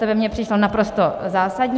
To by mi přišlo naprosto zásadní.